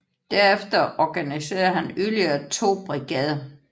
Derefter organiserede han yderligere to brigader